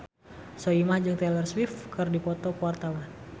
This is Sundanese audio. Soimah jeung Taylor Swift keur dipoto ku wartawan